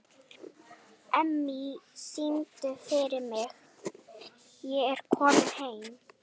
Emmý, syngdu fyrir mig „Ég er kominn heim“.